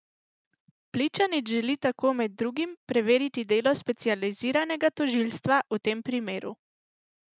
Pličanič želi tako med drugim preveriti delo specializiranega tožilstva v tem primeru.